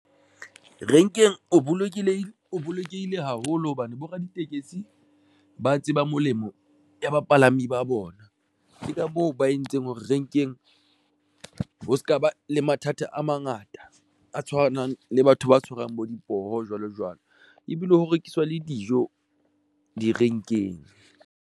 Renkeng o bolokelehile o bolokehile haholo hobane bo raditekesi ba tseba molemo ya bapalami ba bona. Ke ka moo ba entseng hore renkeng ho se ka ba le mathata a mangata a tshwanang le batho ba tshwarang bo dipoho, jwalojwalo ebile ho rekiswa le dijo direnkeng.